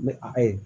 Ni a ye